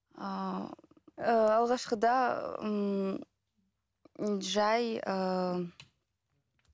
ыыы алғашқыда ыыы жай ыыы